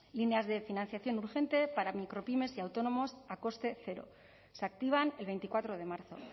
líneas de financiación urgente para micropymes y autónomos a coste cero se activan el veinticuatro de marzo